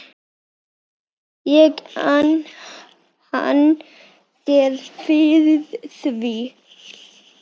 ég ann þér fyrir því.